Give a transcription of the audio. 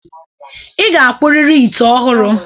Ị ga-akpụrịrị ite ọhụrụ.